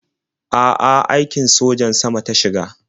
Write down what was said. A'a, aikin sojan sama ta shiga.